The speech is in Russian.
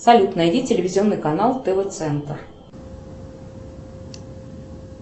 салют найди телевизионный канал тв центр